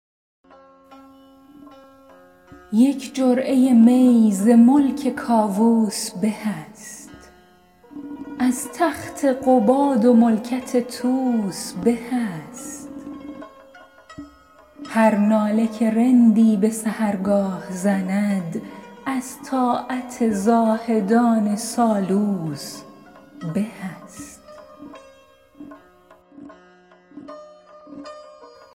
یک جرعه می ز ملک کاووس به است از تخت قباد و ملکت طوس به است هر ناله که رندی به سحرگاه زند از طاعت زاهدان سالوس به است